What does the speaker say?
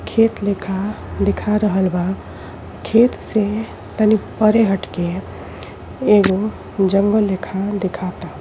खेत लेखा दिखा रहल बा खेत से तनिक परे हट के एगो जंगल लेखा देखाता।